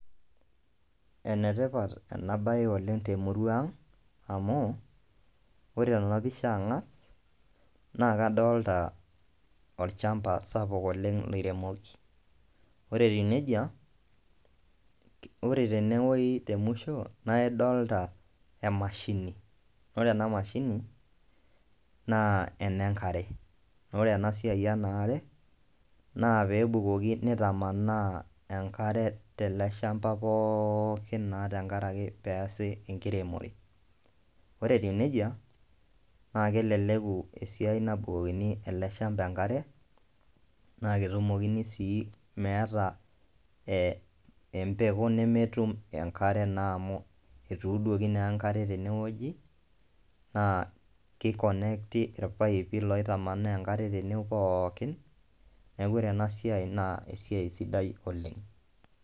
Enetipat ena baye oleng temurua ang amu ore tenapisha ang'as naa kadolita olchamba sapuk oleng loiremoki ore etiu nejia ore tenewueji temusho naa idolta emashini ore ena mashini naa enenkare naa ore ena siai ena aare naa peebukoki neitamanaa enkare teleshamba pookin naa tenkaraki peesi enkiremore ore etiu nejia naa keleleku esiai nabukokini ele shamba enkare naa ketumokini sii meeta empeku nemetum enkare amu etuuduoki naa enkare tenewueji naa keikonekiti irpaipi laitamanaa enkare tene pookin neeku ore ena siai naa esiai sidai oleng.